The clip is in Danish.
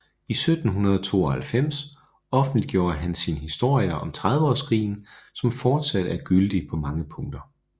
I 1792 offentliggjorde han sin Historien om Trediveårskrigen som fortsat er gyldig på mange punkter